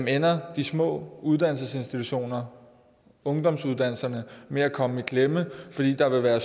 ender de små uddannelsesinstitutioner ungdomsuddannelserne med at komme i klemme fordi der vil være